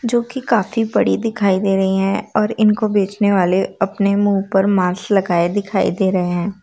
जो की काफी बड़ी दिखाई दे रही हैं और इनको बेचने वाले अपने मुंह पर मास्क लगाए दिखाई दे रहें हैं।